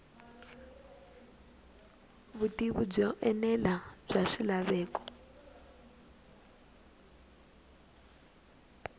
vutivi byo enela bya swilaveko